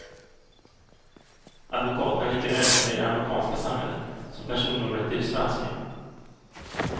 Advokaten är lika nödvändig i det amerikanska samhället som personnumret i det svenska.